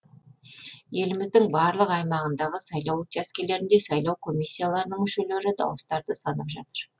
еліміздің барлық аймағындағы сайлау учаскелерінде сайлау комиссияларының мүшелері дауыстарды санап жатыр